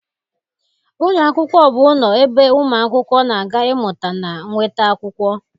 Ụlọ akwụkwọ bụ ụlọ ebe ụmụ akwụkwọ na-aga ịmụta na nweta akwụkwọ